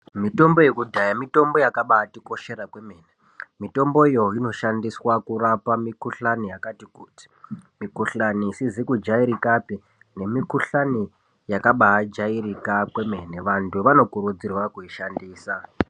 Mitombo yekudhaya mitombo yakabatikoshera. Mitomboyo inoshandiswa kurapa mikhuhlani yakati kuti, mikhuhlani isizi kujairikapi nemikhuhlani yakabajairika kwemene. Vantu vanokurudzirwa kuishandisa.